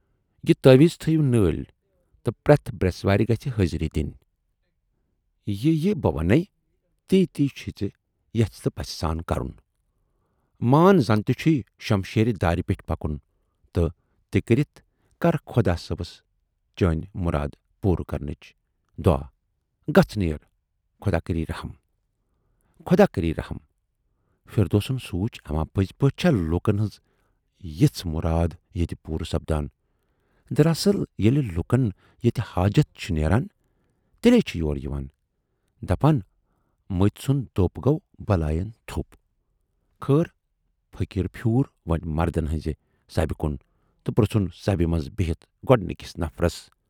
یہِ تٲویٖز تھٔوِیو نٲلۍ تہٕ پرتھ برٮ۪سوارِ گَژھِ حٲضری دِنۍ۔ یہِ یہِ بہٕ وَنے تی تی چھُے ژے ییژھِ پَژھِ سان کَرُن۔ مان زَن تہِ چھُے شمشیردارِ پٮ۪ٹھ پکُن تہٕ تہِ کٔرِتھ کرٕ خۄدا صٲبس چٲنۍ مراد پوٗرٕ کرنٕچ دعا۔ گَژھ نیر! خۅدا کرِی رٔحم۔ خۅدا کرِی رٔحم فِردوسن سونچ اَما پٔزی پٲٹھی چھا لوٗکن ہٕنزِ یِژھٕ مُرادٕ ییتہِ پوٗرٕ سَپدان دراصل ییلی لوٗکن ییتہِ حاجتھ چھُ نیران تیلی چھِ یور یِوان۔ دپان مٔتۍ سُند دوپ چھُ بلایَن تھوپ۔ خٲر فقیٖر پھیوٗر وۅنۍ مردَن ہٕنزِ سبہِ کُن تہٕ پرژھُن سبہِ منز بِہِتھ گۅڈنٕکِس نفرس۔